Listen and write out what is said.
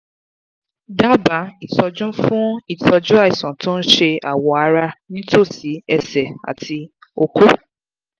daba itọju fun itoju àìsàn tó ń ṣe awọ ara nítòsí ẹsẹ̀ àti oko